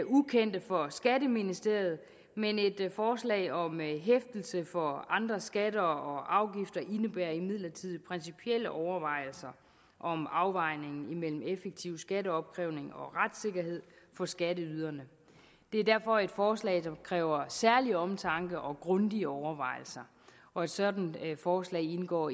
ukendte for skatteministeriet men et forslag om hæftelse for andre skatter og afgifter indebærer imidlertid principielle overvejelser om afvejningen imellem en effektiv skatteopkrævning og retssikkerheden for skatteyderne det er derfor et forslag der kræver særlig omtanke og grundige overvejelser og et sådant forslag indgår